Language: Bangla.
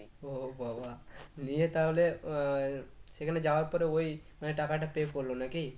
ও বাবাঃ নিয়ে তাহলে আহ সেখানে যাওয়ার পরে ওই মানে টাকাটা pay করল নাকি?